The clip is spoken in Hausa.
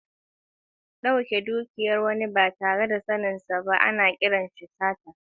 Dauke dukiyar wani ba tare da yardarsa ba, ana kiransa sata.